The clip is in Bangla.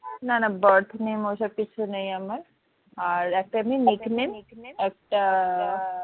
না না birth name ওইসব কিছু নেই আমার আর একটা এমনি nick name একটা